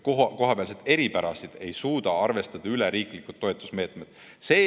Kohapealseid eripärasid ei suuda üleriiklikud toetusmeetmed arvestada.